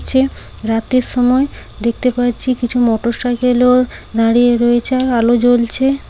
ছে রাতের সময় দেখতে পাচ্ছি কিছু মোটর সাইকেল ও দাঁড়িয়ে রয়েছে আলো জ্বলছে।